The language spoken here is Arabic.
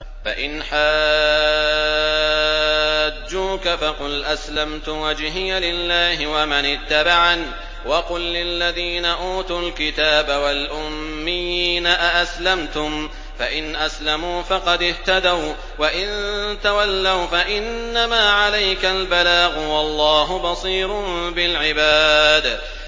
فَإِنْ حَاجُّوكَ فَقُلْ أَسْلَمْتُ وَجْهِيَ لِلَّهِ وَمَنِ اتَّبَعَنِ ۗ وَقُل لِّلَّذِينَ أُوتُوا الْكِتَابَ وَالْأُمِّيِّينَ أَأَسْلَمْتُمْ ۚ فَإِنْ أَسْلَمُوا فَقَدِ اهْتَدَوا ۖ وَّإِن تَوَلَّوْا فَإِنَّمَا عَلَيْكَ الْبَلَاغُ ۗ وَاللَّهُ بَصِيرٌ بِالْعِبَادِ